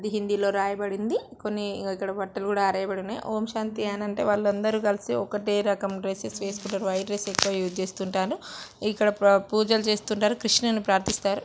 ఇది హిందీలో రాయబడి ఉంది కొన్ని ఇక్కడ బట్టలు కూడా ఆరేయ బడి ఉన్నాయి. ఓంశాంతి అనంత వాళ్ళందరూ కలిసి ఒకటే రకమ్ డ్రెస్సెస్ వేసుకుంటారు. వైట్ డ్రెస్ ఎక్కువ యూస్ చేస్తూ ఉంటారు ఇక్కడ ప్రా పూజలు చేస్తూ ఉంటారు. కృష్ణుని ప్రార్థిస్తారు.